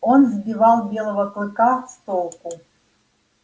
он сбивал белого клыка с толку